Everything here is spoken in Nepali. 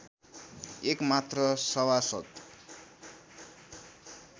एक मात्र सभासद्